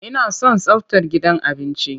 Ina son tsaftar gidan abinci.